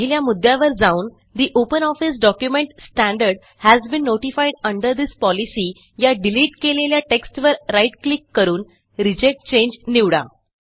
पहिल्या मुद्यावर जाऊन ठे OpenOffice document standard has been notified under this policyया डिलिट केलेल्या टेक्स्टवर राईट क्लिक करून रिजेक्ट चांगे निवडा